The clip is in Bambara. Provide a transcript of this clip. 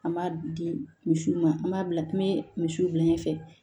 An b'a di misiw ma an b'a bila n bɛ misiw bila ɲɛfɛ